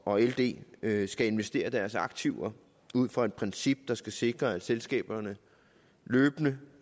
og ld ld skal investere deres aktiver ud fra et princip der skal sikre at selskaberne løbende